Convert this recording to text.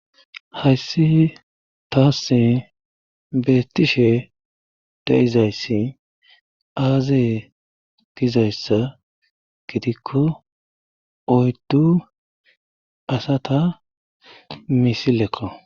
hayssi taassi beettishe de'izayssi aazee gizayssa gidikko oyddu asata misilekko